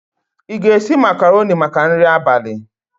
Ị ga-esi macarọnị maka nri abalị.